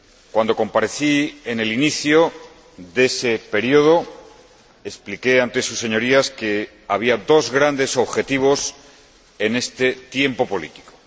Cuando comparecí en el inicio de ese período, expliqué ante sus Señorías que había dos grandes objetivos en este tiempo político.